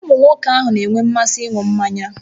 Ụmụ nwoke na-enwe mmasị ịṅụ mmanya